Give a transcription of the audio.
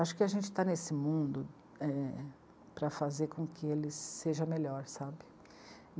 Acho que a gente está nesse mundo, é... para fazer com que eles seja melhor.